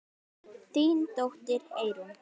Þín dóttir, Eyrún.